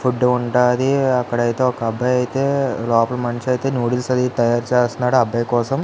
food ఉంటాది అక్కడ అయితే ఒక అబ్బాయి అయితే లోపల మనిషి అయితే నూడుల్స్ అది తయారు చేస్తున్నాడు ఆ అబ్బాయి కోసం --